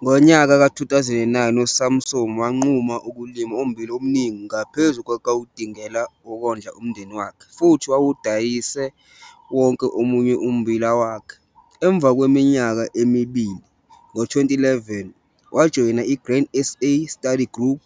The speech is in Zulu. Ngonyaka ka-2009 uSamson wanquma ukulima ummbila omningi ngaphezu kwawudingela ukondla umndeni wakhe futhi wawudayise wonke omunye ummbila wakhe. Emva kweminyaka emibili, ngo-2011, wajoyina i-Grain SA Study Group